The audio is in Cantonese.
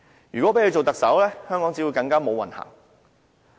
如果讓她做特首，香港只會更"無運行"。